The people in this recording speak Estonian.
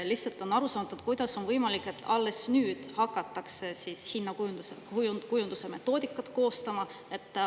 Lihtsalt arusaamatu, kuidas on võimalik, et alles nüüd hakatakse hinnakujunduse metoodikat koostama.